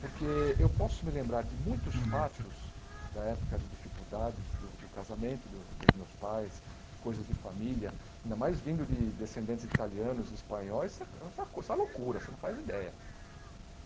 Porque eu posso me lembrar de muitos fatos da época de dificuldades, do do casamento dos dos meus pais, coisas de família, ainda mais vindo de descendentes italianos, espanhóis, isso é uma loucura, você não faz ideia.